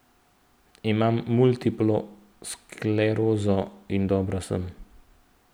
Imam multiplo sklerozo in dobro sem.